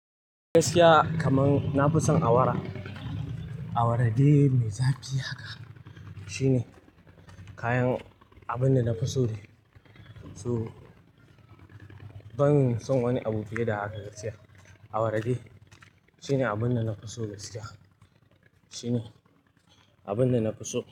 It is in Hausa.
Gaskiya kaman na fi son awara. Awara dai, mai zafi haka. Shine kayan abin da na fi so dai. So ban son wani abu fiye da haka gaskiya. Awara dai shine abin da na fi so gaskiya. Shine abin da na fi so.